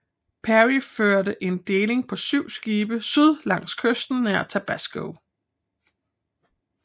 Perry førte en deling på 7 skibe syd langs kysten nær Tabasco